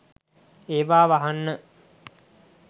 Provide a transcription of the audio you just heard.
ඒවා වහන්න